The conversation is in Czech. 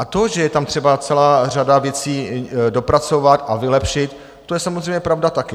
A to, že je tam třeba celá řada věcí dopracovat a vylepšit, to je samozřejmě pravda také.